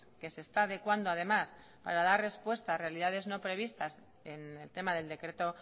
que se está adecuando además para dar respuesta a realidades no previstas en el tema del decreto